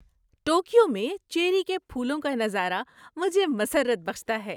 Tokyo میں cherry کے پھولوں کا نظارہ مجھے مسرت بخشتا ہے۔